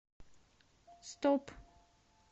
стоп